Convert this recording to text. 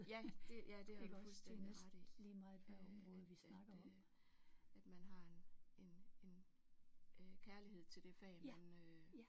Ja det ja det har du fuldstændig ret i øh at at at man har en en en øh kærlighed til det fag man øh